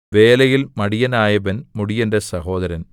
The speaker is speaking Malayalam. വേലയിൽ മടിയനായവൻ മുടിയന്റെ സഹോദരൻ